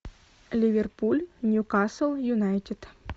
ливерпуль ньюкасл юнайтед